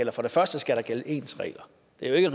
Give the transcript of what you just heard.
er